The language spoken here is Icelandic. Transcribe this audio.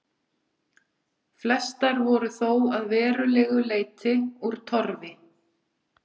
Flestar voru þó að verulegu leyti úr torfi.